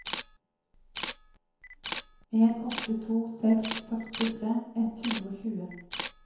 en åtte to seks førtitre ett hundre og tjue